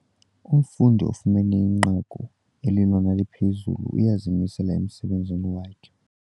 Umfundi ofumene inqaku elilona liphezulu uyazimisela emsebenzini wakhe.